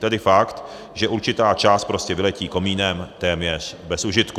Tedy fakt, že určitá část prostě vyletí komínem téměř bez užitku.